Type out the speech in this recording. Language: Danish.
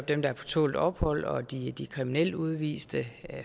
dem der er på tålt ophold de kriminelle udviste og